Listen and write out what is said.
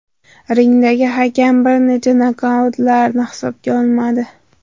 Ringdagi hakam bir nechta nokdaunlarni hisobga olmadi.